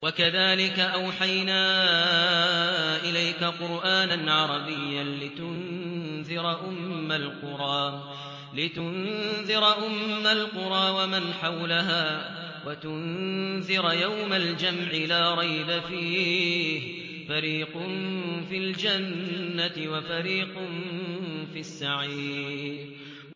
وَكَذَٰلِكَ أَوْحَيْنَا إِلَيْكَ قُرْآنًا عَرَبِيًّا لِّتُنذِرَ أُمَّ الْقُرَىٰ وَمَنْ حَوْلَهَا وَتُنذِرَ يَوْمَ الْجَمْعِ لَا رَيْبَ فِيهِ ۚ فَرِيقٌ فِي الْجَنَّةِ وَفَرِيقٌ فِي السَّعِيرِ